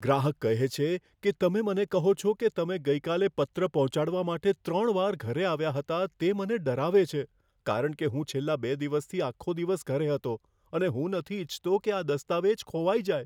ગ્રાહક કહે છે કે, તમે મને કહો છો કે તમે ગઈકાલે પત્ર પહોંચાડવા માટે ત્રણ વાર ઘરે આવ્યા હતા, તે મને ડરાવે છે, કારણ કે હું છેલ્લા બે દિવસથી આખો દિવસ ઘરે હતો અને હું નથી ઇચ્છતો કે આ દસ્તાવેજ ખોવાઈ જાય.